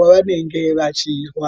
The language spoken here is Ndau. wavanenge vachirwara